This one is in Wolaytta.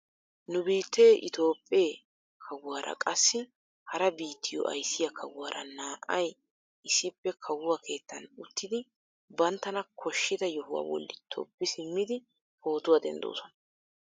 Nu biittee itoophphee kawuwaara qassi hara biittiyoo ayssiyaa kawuwaara na"ay issippe kawuwaa keettan uttidi banttana koshida yohuwaa bolli tobbi simmidi pootuwaa denddoosona.